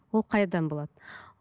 ол қайдан болады